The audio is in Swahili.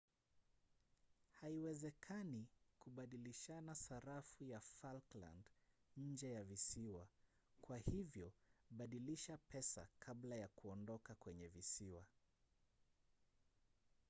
haiwezekani kubadilishana sarafu ya falkland nje ya visiwa kwa hivyo badilisha pesa kabla ya kuondoka kwenye visiwa